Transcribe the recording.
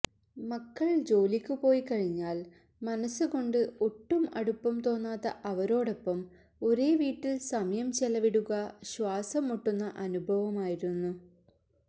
മക്കള് ജോലിക്കു പോയിക്കഴിഞ്ഞാല് മനസ്സുകൊണ്ട് ഒട്ടും അടുപ്പം തോന്നാത്ത അവരോടൊപ്പം ഒരേ വീട്ടില് സമയം ചെലവിടുക ശ്വാസം മുട്ടുന്ന അനുഭവമായിരുന്നു